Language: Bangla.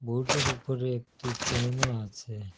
বোর্ডের ওপরে একটি ফ্যানও আছে।